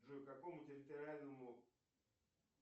джой к какому территориальному